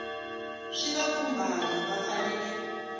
swi va khumbhaka va fanele